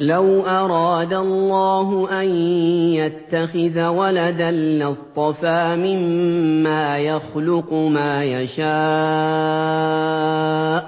لَّوْ أَرَادَ اللَّهُ أَن يَتَّخِذَ وَلَدًا لَّاصْطَفَىٰ مِمَّا يَخْلُقُ مَا يَشَاءُ ۚ